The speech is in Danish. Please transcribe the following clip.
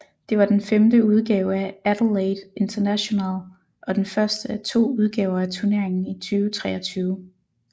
Det var den femte udgave af Adelaide International og den første af to udgaver af turneringen i 2023